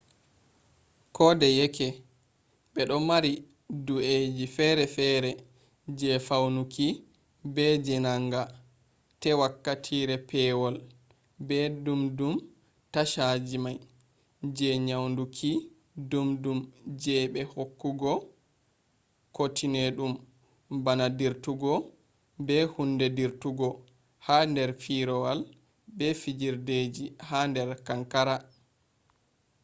kodeyake be du mari dau’e fere fere je faunuki be jenanga te wakkatire pewol be dumdum tashaji mai je nyauduki dumdum je be hokkugo kutenedum bana dirtugo be hunde dirtugo ha der firawol be fijirdeji ha der kankara